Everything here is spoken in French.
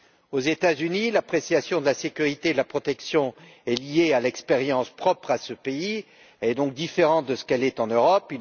Aux États Unis, l'appréciation de la sécurité et de la protection est liée à l'expérience propre à ce pays, et donc différente de ce qu'elle est en Europe.